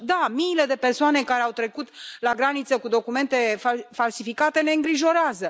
Și da, miile de persoane care au trecut la graniță cu documente falsificate ne îngrijorează.